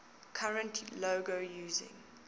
current logo using